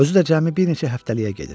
Özü də cəmi bir neçə həftəliyə gedir.